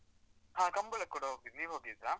ಹ ಕಂಬಳಕ್ಕ್ ಕೂಡ ಹೋಗಿದಿ, ನೀವ್ ಹೋಗಿದಿರಾ?